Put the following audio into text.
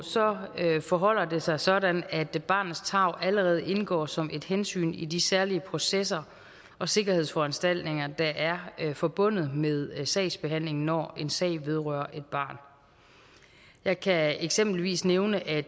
forholder det sig sådan at barnets tarv allerede indgår som et hensyn i de særlige processer og sikkerhedsforanstaltninger der er forbundet med sagsbehandlingen når en sag vedrører et barn jeg kan eksempelvis nævne at